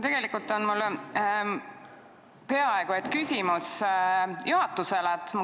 Tegelikult on mul peaaegu et küsimus juhatusele.